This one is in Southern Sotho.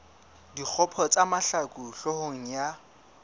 dikgopo tsa mahlaku hloohong ya